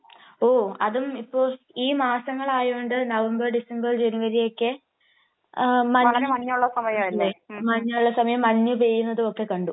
ഓഹ്. അതും ഇപ്പോ ഈ മാസങ്ങളായോണ്ട് നവംബർ ഡിസംബർ ജനുവരി ഒക്കെ വളരെ മഞ്ഞ് ഉള്ള സമയല്ലേ. മഞ്ഞുള്ള സമയം മഞ്ഞ് പെയ്യുന്നതൊക്കെ കണ്ടു.